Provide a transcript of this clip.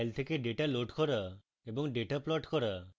files থেকে data load করা এবং ডেটা plot করা